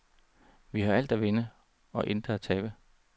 Vi har alt at vinde og intet at tabe.